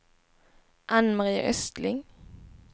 Ann-Mari Östling